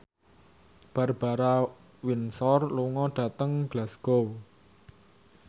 Barbara Windsor lunga dhateng Glasgow